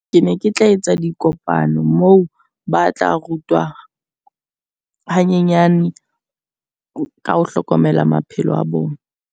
Ke ne ke tla etsa dikopano moo ba tla rutwa hanyenyane ka ho hlokomela maphelo a bona.